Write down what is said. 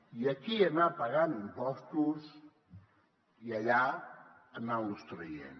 i aquí anar pagant impostos i allà anar los traient